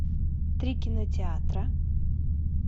три кинотеатра